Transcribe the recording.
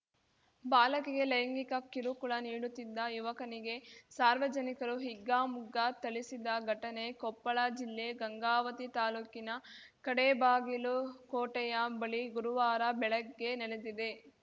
ಬಾಲಕಿಗೆ ಲೈಂಗಿಕ ಕಿರುಕುಳ ನೀಡುತ್ತಿದ್ದ ಯುವಕನಿಗೆ ಸಾರ್ವಜನಿಕರು ಹಿಗ್ಗಾಮುಗ್ಗಾ ಥಳಿಸಿದ ಘಟನೆ ಕೊಪ್ಪಳ ಜಿಲ್ಲೆ ಗಂಗಾವತಿ ತಾಲೂಕಿನ ಕಡೇಬಾಗಿಲು ಕೋಟೆಯ ಬಳಿ ಗುರುವಾರ ಬೆಳಗ್ಗೆ ನಡೆದಿದೆ